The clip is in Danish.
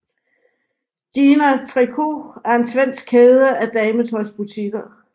Gina Tricot er en svensk kæde af dametøjsbutikker